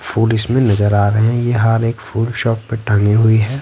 Food इसमें नजर आ रहे हैं ये हार एक फ़ूड शॉप पे टंगी हुई है।